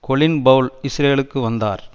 Colin Powell இஸ்ரேலுக்கு வந்தார்